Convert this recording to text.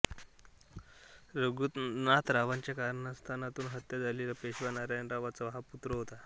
रघुनाथरावाच्या कारस्थानातून हत्या झालेल्या पेशवा नारायणरावाचा हा पुत्र होता